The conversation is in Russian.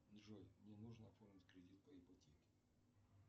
джой мне нужно оформить кредит по ипотеке